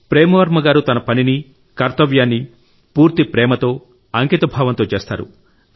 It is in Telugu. ప్రేమ్ వర్మ గారు తన పనిని కర్తవ్యాన్ని పూర్తి ప్రేమతో అంకితభావంతో చేస్తారు